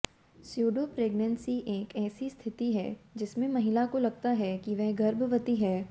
pseudo pregnancy एक ऐसी स्थिति है जिसमें महिला को लगता है कि वह गर्भवती है